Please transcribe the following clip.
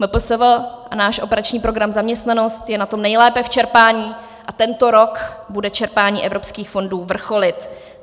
MPSV a náš operační program Zaměstnanost je na tom nejlépe v čerpání a tento rok bude čerpání evropských fondů vrcholit.